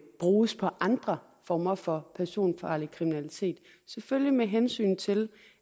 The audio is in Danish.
bruges på andre former for personfarlig kriminalitet selvfølgelig med hensynet til